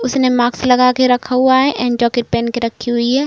उसने माक्स लगाके रखा हुआ है एण्ड जैकेट पहन के रखी हुई है।